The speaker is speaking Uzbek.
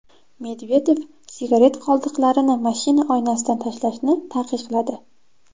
Medvedev sigaret qoldiqlarini mashina oynasidan tashlashni taqiqladi.